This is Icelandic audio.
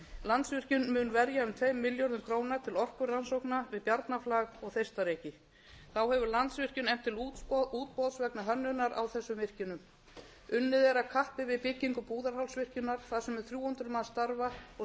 landsvirkjun mun verja um tveim milljörðum króna til orkurannsókna við bjarnarflag og þeistareyki þá hefur landsvirkjun efnt til útboðs vegna hönnunar á þessum virkjunum unnið er að kappi við byggingu búðarhálsvirkjunar þar sem um þrjú hundruð manns starfa og